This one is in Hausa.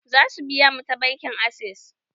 Za su biya mu ta bankin access